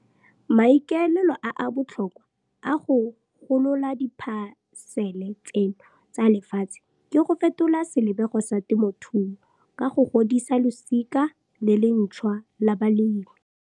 Maikaelelo a a botlhokwa a go golola diphasele tseno tsa lefatshe ke go fetola selebego sa temothuo ka go godisa losika le le ntšhwa la balemi.